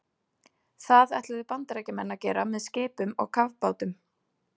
Það ætluðu Bandaríkjamenn að gera með skipum og kafbátum.